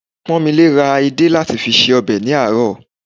Pọ́nmilé ra edé láti fi se ọbẹ̀ ní àárọ̀